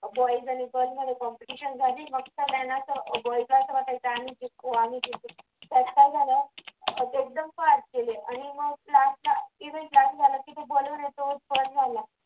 boys आणि girls मध्ये competition झाली मग सगळ्यांना असा विश्वास वाटायचा आम्ही शिकवा आम्ही शिकू त्याचं काय झालं